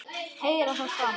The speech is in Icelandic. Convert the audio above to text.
Heyra það sama.